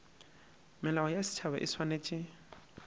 melao ya setšhaba e swanetše